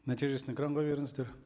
нәтижесін экранға беріңіздер